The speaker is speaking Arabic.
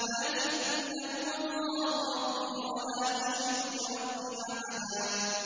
لَّٰكِنَّا هُوَ اللَّهُ رَبِّي وَلَا أُشْرِكُ بِرَبِّي أَحَدًا